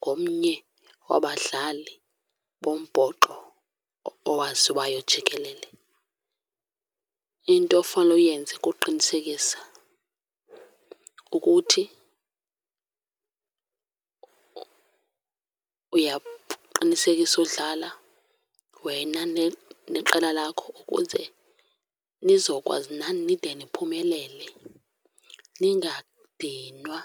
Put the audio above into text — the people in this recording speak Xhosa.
ngomnye wabadlali bombhoxo owaziwayo jikelele. Into ofanele uyenze kuqinisekisa ukuthi uyaqinisekisa udlala wena neqela lakho ukuze nizokwazi nani nide niphumelele, ningadinwa.